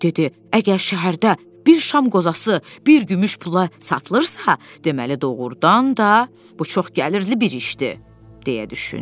Əgər şəhərdə bir şam qozası bir gümüş pula satılırsa, deməli doğrudan da bu çox gəlirli bir işdir deyə düşündü.